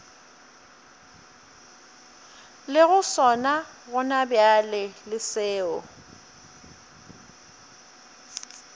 lego sona gonabjale le seo